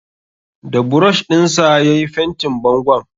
Da burosh ɗin sa ya yi fentin bangon.